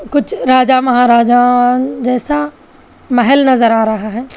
कुछ राजा महाराजा जैसा महल नजर आ रहा है।